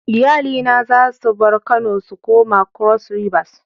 Iyali na za su bar Kano su koma cross rivers.